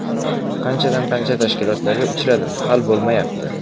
Qanchadan qancha tashkilotlarga uchradim hal bo‘lmayapti.